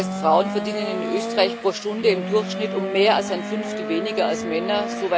Das heißt, Frauen verdienen in Österreich pro Stunde im Durchschnitt um mehr als ein Fünftel weniger als Männer.